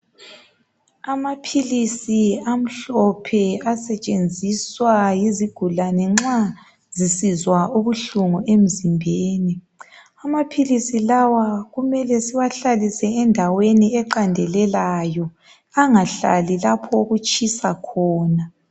amaphilisi amhlophe asetshenziswa yizigulane nxa zisizwa ubuhlungu emzimbeni amaphilisi lawa kumele siwahlalise endweni eqandelelayo angahlali lapho okutshisa khona